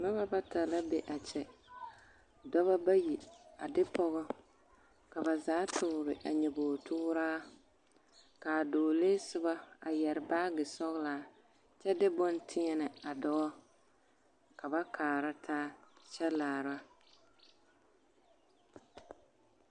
Noba bata la be a kyɛ dɔbɔ bayi a de pɔgɔ ka ba zaa toore a nyobogi tooraa k'a dɔɔlee soba a yɛre baagi sɔgelaa kyɛ de bone teɛnɛ a dɔɔ ka ba kaara taa kyɛ laara.